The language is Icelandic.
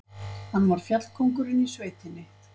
Hann var fjallkóngurinn í sveitinni.